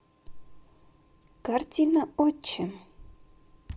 картина отчим